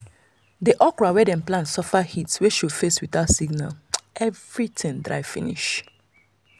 the okra wey dem plant suffer heat wey show face without signal everything dry finish.